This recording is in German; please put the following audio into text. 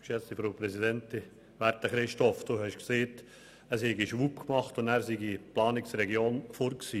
Werter Christoph Neuhaus, Sie haben gesagt, es habe «schwupp» gemacht, und die Planungsregionen seien weg gewesen.